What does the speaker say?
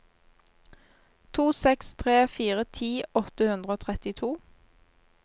to seks tre fire ti åtte hundre og trettito